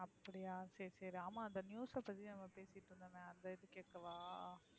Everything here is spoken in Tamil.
அப்டியா சரி சரி ஆமா அந்த news அ பத்தி நம்ம பேசிட்டு இருந்தோமே அதா இது கேக்கவா?